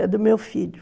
É do meu filho.